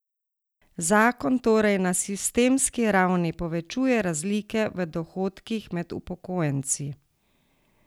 Zakon torej na sistemski ravni povečuje razlike v dohodkih med upokojenci.